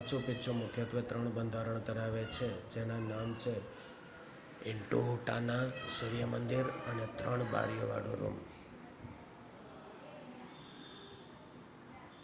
Machu Picchu મુખ્યત્વે 3 બંધારણ ધરાવે છે જેના નામ છે ઇન્ટિહુટાના સૂર્ય મંદિર અને 3 બારીઓ વાળો રૂમ